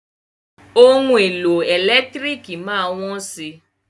Ohun èlò ẹ̀lẹ́tírìkì má á wọ́n si.